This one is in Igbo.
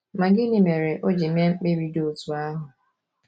Ma gịnị mere o ji mee mkpebi dị otú ahụ?